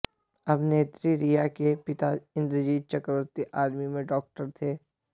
अभिनेत्री रिया के पिता इंद्रजीत चक्रवर्ती आर्मी में डॉक्टर थे